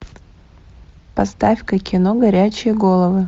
поставь ка кино горячие головы